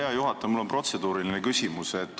Hea juhataja, mul on protseduuriline küsimus.